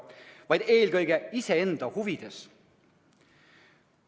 Tegutsetakse eelkõige iseenda huvides.